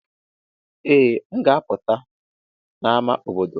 Ee, m ga-apụta n'ámá obodo.